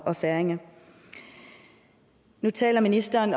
og færinger nu taler ministeren